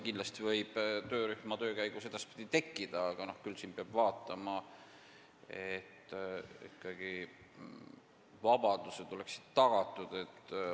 Kindlasti võib see teema edaspidi töörühma töö käigus kerkida, aga siin peab vaatama, et vabadused oleksid ikkagi tagatud.